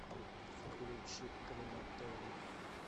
включи крематорий